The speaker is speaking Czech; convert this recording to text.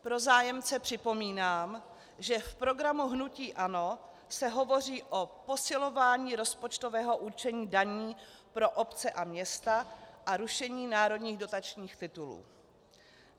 Pro zájemce připomínám, že v programu hnutí ANO se hovoří o posilování rozpočtového určení daní pro obce a města a rušení národních dotačních titulů.